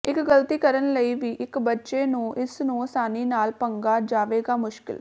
ਇੱਕ ਗਲਤੀ ਕਰਨ ਲਈ ਵੀ ਇੱਕ ਬੱਚੇ ਨੂੰ ਇਸ ਨੂੰ ਆਸਾਨੀ ਨਾਲ ਪੰਗਾ ਜਾਵੇਗਾ ਮੁਸ਼ਕਿਲ